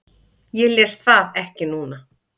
Ég les það ekki núna.